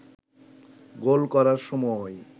গোল করার সময়